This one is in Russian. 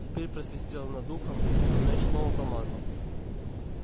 теперь просвистело над ухом но мяч снова промазал